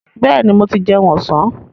Bẹ́ẹ̀ni, mo ti jẹun ọ̀sán.